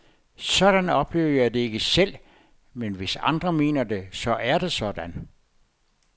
Sådan oplever jeg det ikke selv, men hvis andre mener det, så er det sådan?